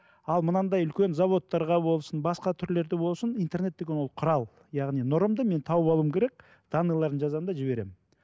ал мынандай үлкен заводтарға болсын басқа түрлерде болсын интернет деген ол құрал яғни нұрымды мен тауып алуым керек данныйларын жазамын да жіберемін